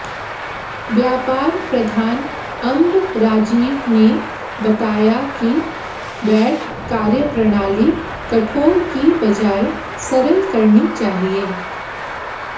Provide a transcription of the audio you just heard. व्यापार प्रधान अंब राजीव ने बताया कि वैट कार्यप्रणाली कठोर की बजाय सरल बननी चाहिए